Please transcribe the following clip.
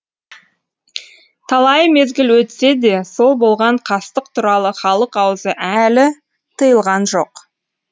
талай мезгіл өтсе де сол болған қастық туралы халық аузы әлі тыйылған жоқ